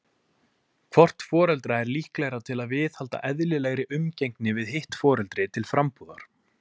Hvort foreldra er líklegra til að viðhalda eðlilegri umgengni við hitt foreldri til frambúðar?